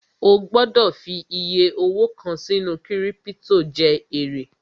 O gbọ́dọ̀ fi iyẹ owó kàn sínú kírípítò jẹ èrè